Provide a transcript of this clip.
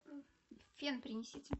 фен принесите